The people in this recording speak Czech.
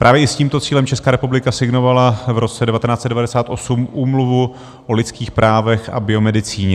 Právě i s tímto cílem Česká republika signovala v roce 1998 Úmluvu o lidských právech a biomedicíně.